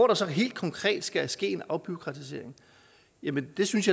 der så helt konkret ske ske en afbureaukratisering jamen jeg synes